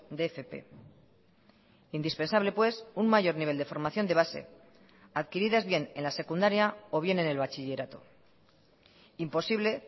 de fp indispensable pues un mayor nivel de formación de base adquiridas bien en la secundaria o bien en el bachillerato imposible